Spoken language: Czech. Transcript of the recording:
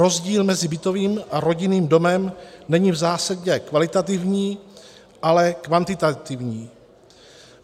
Rozdíl mezi bytovým a rodinným domem není v zásadě kvalitativní, ale kvantitativní.